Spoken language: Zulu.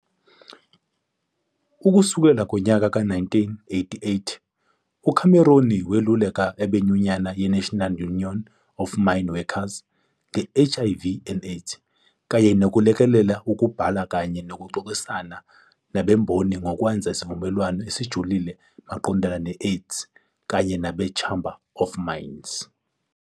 Ukusukela ngonyaka ka 1988, uCameron weluleka abenyunyane ye-National Union of Mine Workers nge-HIV and AIDS kanye nokulekelela ukubhala kanye nokuxoxisana nabemboni ngokwenza isivumelwano esijulile maqondana ne-AIDS kanye nabe-Chamber of Mines.